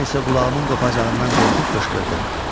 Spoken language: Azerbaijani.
Mən isə qulağımın qopacağından qorxub qışqırdım.